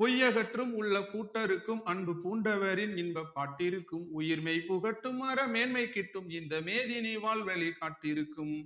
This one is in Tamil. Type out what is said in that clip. பொய் அகற்றும் உள்ளப் பூட்டறுக்கும் அன்பு பூண்டவரின் இன்பப் பாட்டிருக்கும் உயிர் மெய்புகட்டும் அறமேன்மை கிட்டும் இந்த மேதினி வாழ்வழி காட்டியிருக்கும்